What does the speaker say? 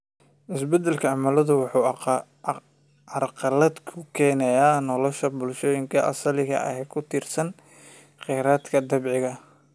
Isbeddelka cimiladu waxa uu carqalad ku keenayaa nolosha bulshooyinka asaliga ah ee ku tiirsan khayraadka dabiiciga ah.